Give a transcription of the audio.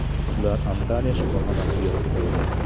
Ular Antalya shifoxonasiga yotqizilgan.